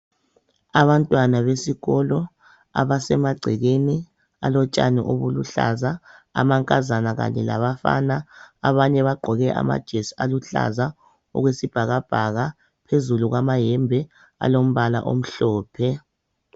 Abantwana besikolo abasemagcekeni alotshani obuluhlaza amankazana kanye labafana abanye bagqoke amajesi aluhlaza okwesibhakabhaka phezulu kwayembe alombala omhlophe.